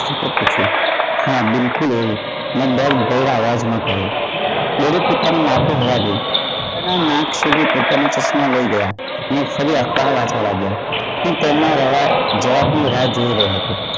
કરશો હા બિલકુલ એ દર્દ ભરેલા અવાજ માં કહ્યું તેઓએ પોતાની માથે હવા દઈ અને નાક સુધી પોતાના ચશ્મા લઈ ગયા અને ફરી અખબાર વાંચવા લાગ્યા તેમના જવાબ ની રાહ જોઇ રહ્યો હતો